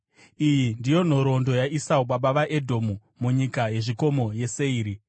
Iyi ndiyo nhoroondo yaEsau baba vavaEdhomu munyika yezvikomo yeSeiri.